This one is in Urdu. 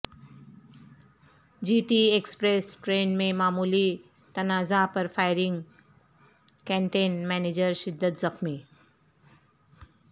جی ٹی ایکسپریس ٹرین میں معمولی تنازعہ پر فائرنگ کینٹین منیجر شدید زخمی